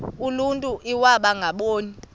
uluntu iwaba ngaboni